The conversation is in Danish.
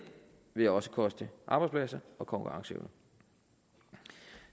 vil også koste arbejdspladser og konkurrenceevne